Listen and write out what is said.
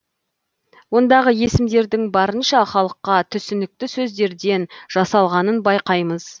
ондағы есімдердің барынша халыққа түсінікті сөздерден жасалғанын байқаймыз